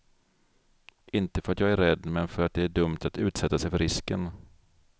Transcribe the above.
Inte för att jag är rädd, men för att det är dumt att utsätta sig för risken.